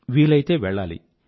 వీలైతే వెళ్లాలి